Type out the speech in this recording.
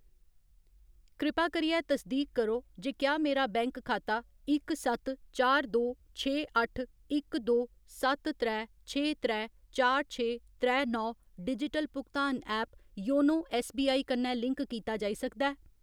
कृपा करियै तसदीक करो जे क्या मेरा बैंक खाता इक सत्त चार दो छे अट्ठ इक दो सत्त त्रै छे त्रै चार छे त्रै नौ डिजिटल भुगतान ऐप योनो ऐस्सबीआई कन्नै लिंक कीता जाई सकदा ऐ ?